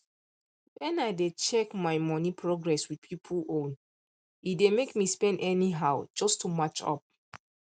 when i dey check my money progress with people own e dey make me spend anyhow just to match up